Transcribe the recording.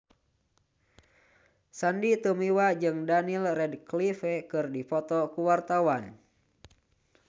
Sandy Tumiwa jeung Daniel Radcliffe keur dipoto ku wartawan